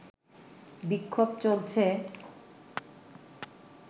বিক্ষোভ চলছে